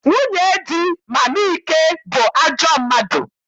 Nwunye di Mama Ike bụ ajọ mmadụ.